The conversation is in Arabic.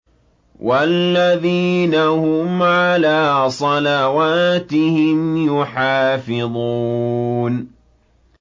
وَالَّذِينَ هُمْ عَلَىٰ صَلَوَاتِهِمْ يُحَافِظُونَ